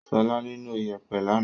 Ṣọlá nílò ìyẹ̀pẹ̀ lánàá.